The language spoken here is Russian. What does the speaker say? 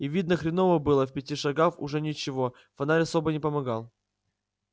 и видно хреново было в пяти шагах уже ничего фонарь особо не помогал